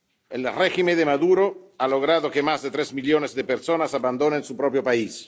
El régimen de Maduro ha logrado que más de tres millones de personas abandonen su propio país.